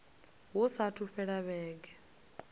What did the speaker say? hu saathu u fhela vhege